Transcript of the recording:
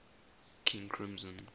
king crimson